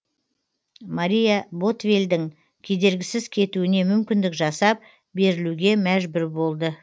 мария ботвеллдің кедергісіз кетуіне мүмкіндік жасап берілуге мәжбүр болды